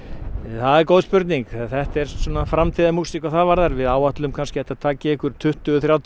það er góð spurning þetta er framtíðarmúsík hvað það varðar við áætlum kannski að það taki einhver tuttugu þrjátíu